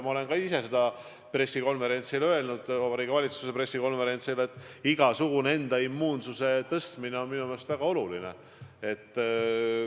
Ma olen ka Vabariigi Valitsuse pressikonverentsil öelnud, et oma immuunsuse igasugune tõstmine on väga oluline.